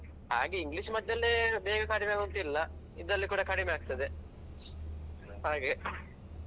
ಹಾಗೆ English ಮದ್ದಲ್ಲೇ ಬೇಗ ಕಡಿಮೆಯಾಗುದು ಅಂತಿಲ್ಲ ಇದ್ರಲ್ಲಿ ಕೂಡ ಕಡಿಮೆ ಆಗ್ತದೆ ಹಾಗೆ.